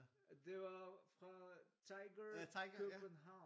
Det var fra Tiger København